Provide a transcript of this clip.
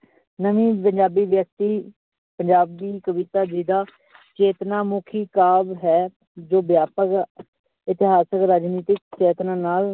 ਵਿਅਕਤੀ ਪੰਜਾਬੀ ਕਵਿਤਾ ਜਿਹਦਾ ਚੇਤਨਾ ਮੁੱਖੀ ਕਾਜ ਹੈ ਜੋ ਵਿਆਪਕ ਇਤਿਹਾਸਕ, ਰਾਜਨੀਤਿਕ ਚੇਤਨਾ ਨਾਲ